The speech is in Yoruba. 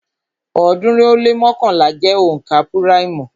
ọ̀ọ́dúnrún ó lé mọ́kànlá jẹ́ onka púráìmù